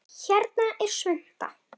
Hérna er svunta